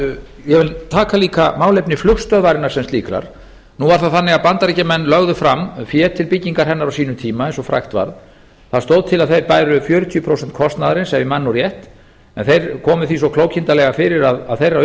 ég vil taka líka málefni flugstöðvarinnar sem slíkrar nú er það þannig að bandaríkjamenn lögðu fram fé til byggingar hennar á sínum tíma eins og frægt varð það stóð til að þeir bæru fjörutíu prósent kostnaðarins ef ég man rétt en þeir komu því svo klókindalega fyrir að þeirra